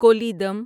Kollidam